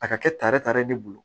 A ka kɛ tare tare